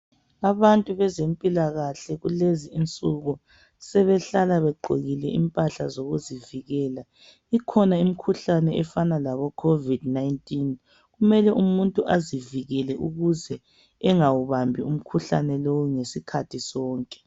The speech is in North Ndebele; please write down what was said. Abantu bezempilakahle kulezinsuku sebehlala begqokile impahla zokuzivikela, ikhona imikhuhlane efana lobo Covid19 kumele umuntu azivikele ukuze engawubambi umkhuhlane lowu ngesikhathi sonke.